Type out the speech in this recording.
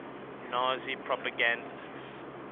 nazi propagandists